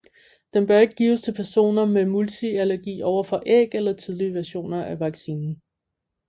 Den bør ikke gives til personer med multiallergi overfor æg eller tidligere versioner af vaccinen